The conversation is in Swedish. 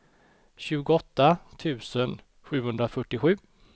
tjugoåtta tusen sjuhundrafyrtiosju